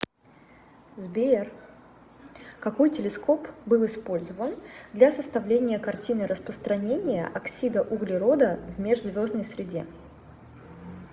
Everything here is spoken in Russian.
сбер какой телескоп был использован для составления картины распространения оксида углерода в межзвездной среде